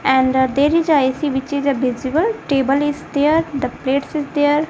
and there is a A_C which is a visible table is there the plates is there.